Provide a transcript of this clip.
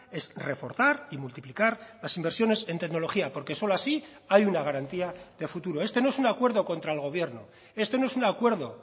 es reforzar y multiplicar las inversiones en tecnología porque solo así hay una garantía de futuro este no es un acuerdo contra el gobierno esto no es un acuerdo